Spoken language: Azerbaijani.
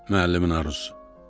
Müəllimin arzusu.